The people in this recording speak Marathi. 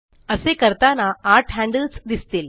असे करताना आठ हैन्डल्स दिसतील